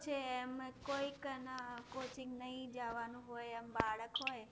છે એમ કોઈકને coaching નહીં જાવાનું હોય એમ બાળક હોય